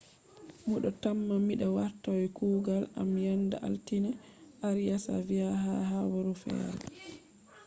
‘’mido tamma mi wartai kuugal am yenda altine’’arias vi ha habaru fere